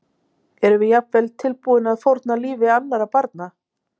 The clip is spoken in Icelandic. Erum við jafnvel tilbúin að fórna lífi annarra barna?